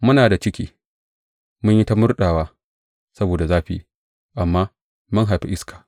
Muna da ciki, mun yi ta murɗewa saboda zafi, amma mun haifi iska.